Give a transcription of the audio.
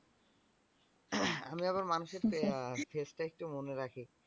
আমি আবার মানুষের face টা একটু মনে রাখি।